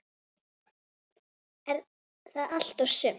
Er það allt og sumt?